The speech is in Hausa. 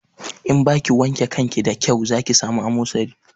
In ba kai wanke kanki da kyau za ki sami amosali